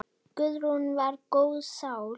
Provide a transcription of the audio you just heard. Guðrún var góð sál.